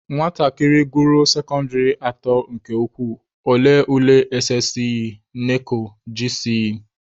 Nwatakịrị gụruo sekọndịrị atọ nke ukwuu, ọ lee ule SSCE/NECO/GCE.